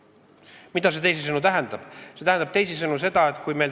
Mida see tähendab?